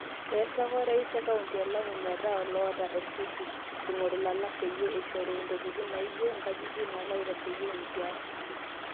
E eseka Orais kaunti e Lamu metaa loota olkiti ingoru lalaak peyie ishoru ntokitin naajio ng'ajijik nalo aitasheyia enkias.